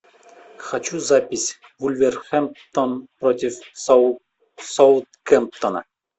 хочу запись вулверхэмптон против саутгемптона